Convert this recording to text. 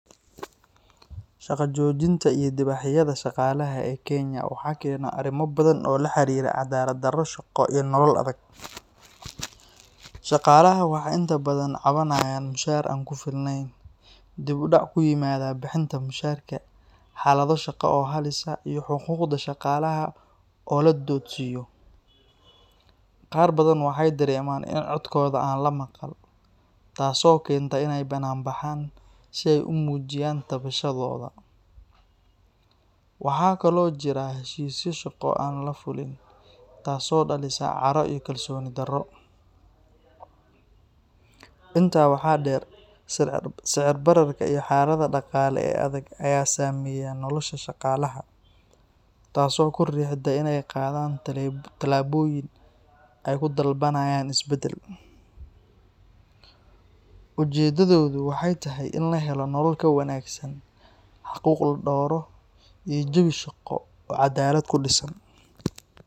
Shaqo joojinta iyo dibadbaxyada shaqaalaha ee Kenya waxaa keena arrimo badan oo la xiriira cadaalad-darro shaqo iyo nolol adag. Shaqaalaha waxay inta badan cabanayaan mushaar aan ku filnayn, dib u dhac ku yimaada bixinta mushaharka, xaalado shaqo oo halis ah, iyo xuquuqda shaqaalaha oo la duudsiiyo. Qaar badan waxay dareemaan in codkooda aan la maqal, taasoo keenta in ay ka banaanbaxaan si ay u muujiyaan tabashadooda. Waxaa kaloo jira heshiisyo shaqo oo aan la fulin, taasoo dhalisa caro iyo kalsooni-darro. Intaa waxaa dheer, sicir bararka iyo xaaladda dhaqaale ee adag ayaa saameeya nolosha shaqaalaha, taasoo ku riixda inay qaadaan tallaabooyin ay ku dalbanayaan isbeddel. Ujeedadoodu waxay tahay in la helo nolol ka wanaagsan, xuquuq la dhowro, iyo jawi shaqo oo cadaalad ku dhisan.